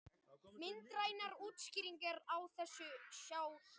Myndrænar útskýringar á þessu má sjá hér.